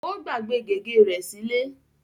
ó gbàgbé gègé rẹ sílé.